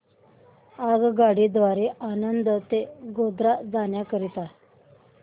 आगगाडी द्वारे आणंद ते गोध्रा जाण्या करीता